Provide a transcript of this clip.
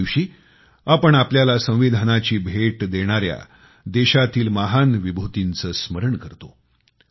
त्यादिवशी आपण आपल्याला संविधानाची भेट देणाऱ्या देशातील महान विभूतींचं स्मरण करतो